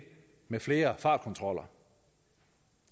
med flere fartkontroller